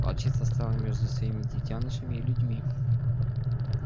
волчица стала между своими детёнышами и людьми